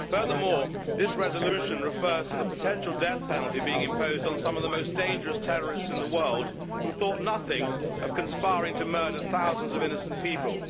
Furthermore, this resolution refers to the potential death penalty being imposed on some of the most dangerous terrorists in the world, who thought nothing of conspiring to murder thousands of innocent people.